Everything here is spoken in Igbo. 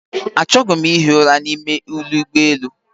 Achọghị m ihi ụra n'ime ụgbọelu